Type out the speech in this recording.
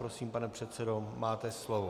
Prosím, pane předsedo, máte slovo.